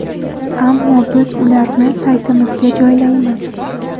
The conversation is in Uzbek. Ammo biz ularni saytimizga joylaymiz.